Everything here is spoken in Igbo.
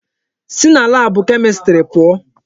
Si na laabụ Kemistri pụọ!